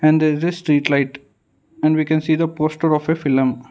in there is a street light and we can see the poster of a film.